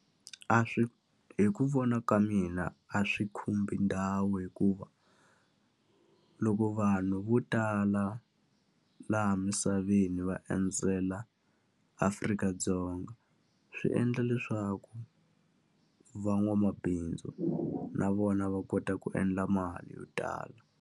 A swi. Hi ku vona ka mina a swi khumbi ndhawu hikuva, loko vanhu vo tala laha misaveni va endzela Afrika-Dzonga swi endla leswaku van'wamabindzu na vona va kota ku endla mali yo tala.